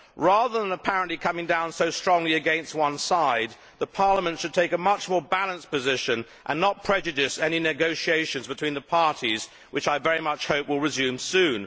Rather than apparently coming down so strongly against one side, the Parliament should take a much more balanced position and not prejudice any negotiations between the parties, which I very much hope will resume soon.